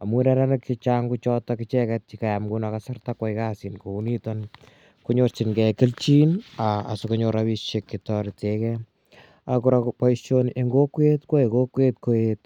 amun neranik che chang' ko chotok icheget che kayam nguno kasarta koyai kasit kou nitoni konyorchingei kelchin asikonyor rapishek che tarete gei. Kora poishoni en kokwet koyae kokwet Koet